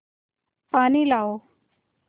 पानी लाओ